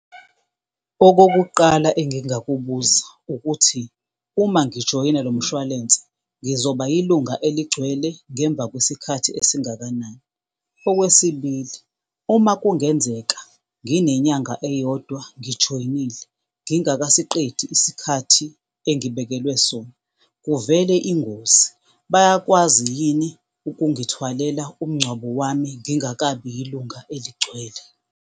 Okokuqala engingakubuza ukuthi uma ngijoyina lo mshwalense, ngizoba yilunga eligcwele ngemva kwesikhathi esingakanani? Okwesibili, uma kungenzeka nginenyanga eyodwa ngijoyinile ngingakasiqedi isikhathi engibekelwe sona, kuvele ingozi, bayakwazi yini ukungithwalela umngcwabo wami ngingakabi yilunga eligcwele?